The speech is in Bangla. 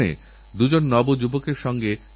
সরকার এক জনআন্দোলন শুরু করে দিয়েছে